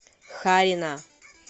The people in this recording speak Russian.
харина